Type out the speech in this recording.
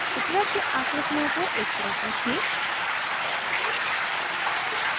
उपलब्ध आकृतियों को एक तरफ रखें